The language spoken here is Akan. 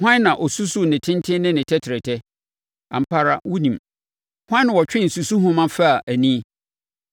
Hwan na ɔsusuu ne tenten ne ne tɛtrɛtɛ? Ampa ara wonim! Hwan na ɔtwee susuhoma faa ani?